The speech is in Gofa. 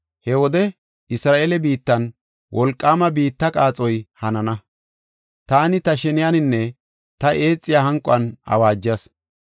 He wode Isra7eele biittan wolqaama biitta qaaxoy hanana; taani ta sheniyaninne ta eexiya hanquwan awaajas.